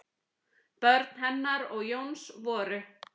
Börn hennar og Jóns voru